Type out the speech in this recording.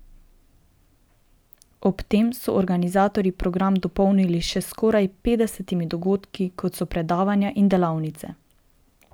Ob tem so organizatorji program dopolnili še s skoraj petdesetimi dogodki, kot so predavanja in delavnice.